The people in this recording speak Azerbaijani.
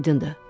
Aydındır.